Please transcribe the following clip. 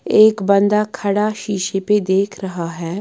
एक बंदा खड़ा शीशे पे देख रहा है।